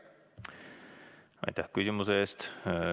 Aitäh küsimuse eest!